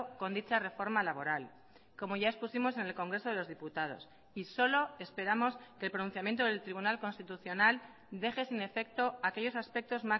con dicha reforma laboral como ya expusimos en el congreso de los diputados y solo esperamos que el pronunciamiento del tribunal constitucional deje sin efecto aquellos aspectos